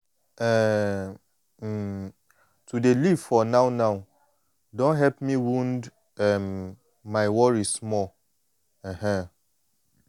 ehn um to dey live for now-now don help me wound um my worry small. um